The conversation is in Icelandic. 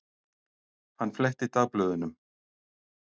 Hann fletti dagblöðunum.